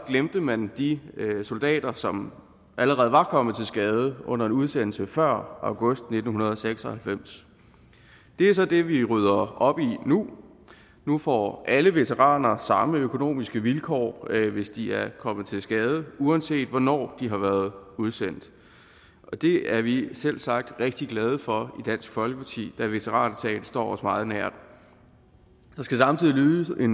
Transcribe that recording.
glemte man de soldater som allerede var kommet til skade under en udsendelse før august nitten seks og halvfems det er så det vi rydder op i nu nu får alle veteraner samme økonomiske vilkår hvis de er kommet til skade uanset hvornår de har været udsendt og det er vi selvsagt rigtig glade for i dansk folkeparti da veteransagen står os meget nær der skal samtidig lyde